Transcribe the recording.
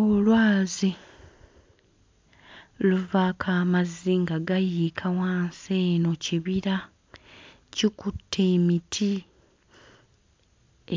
Olwazi luvaako amazzi nga gayiika wansi eno kibira kikutte emiti